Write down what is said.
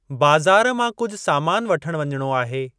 बज़ारि मां कुझु सामानु वठण वञणो आहे।